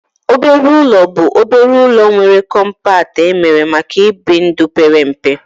Obere ụlọ bụ obere ụlọ nwere kọmpat emere maka ibi ndụ pere mpe